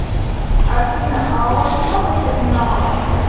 афина а у вас много терминалов